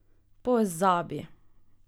Pozabi!